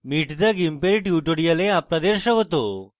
meet the gimp এর tutorial আপনাদের স্বাগত